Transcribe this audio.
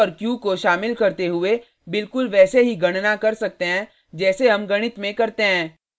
हम p और q को शामिल करते हुए बिलकुल वैसे ही गणना कर सकते हैं जैसे हम गणित में करते हैं